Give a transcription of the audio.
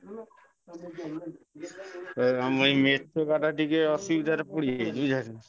ଫେରେ ଆମ ଏଇ ଟିକେ ଅସୁବିଧାରେ ପଡିଯାଇଛି ବୁଝିପାଇଲନା।